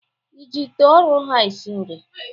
Ị ji ite ụrọ ha esi nri?